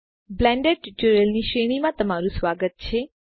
Blender ટ્યુટોરીયલોની શ્રેણીમાં તમારું સ્વાગત છે